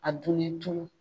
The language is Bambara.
A dunni lu